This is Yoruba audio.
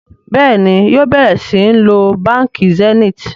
Béèni yóò bẹrẹ sìn ló bánkì Zenith.